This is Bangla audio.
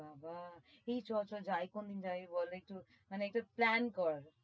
বাবাহ এই চ চ যাই কোনোদিন যাই বল একটু মানে একটা plan কর।